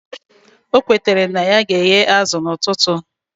O kwetara na ya ga eghe azu na ututu